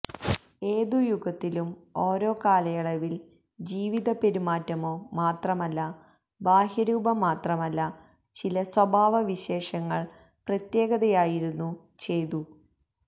ഏത് യുഗത്തിലും ഓരോ കാലയളവിൽ ജീവിത പെരുമാറ്റമോ മാത്രമല്ല ബാഹ്യ രൂപം മാത്രമല്ല ചില സ്വഭാവവിശേഷങ്ങൾ പ്രത്യേകതയായിരുന്നു ചെയ്തു